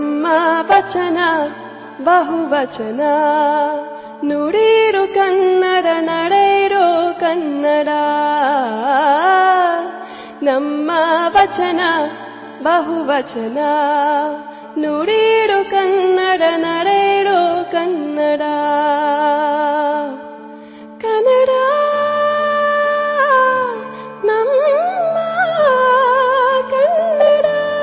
MKB EP 105 audio byte 2